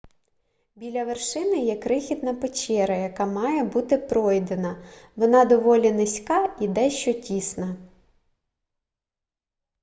біля вершини є крихітна печера яка має бути пройдена вона доволі низька і дещо тісна